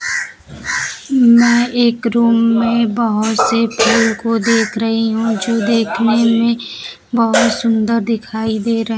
मैं एक रूम में बहोत से फूल को देख रही हूं जो देखने में बहोत सुंदर दिखाई दे र--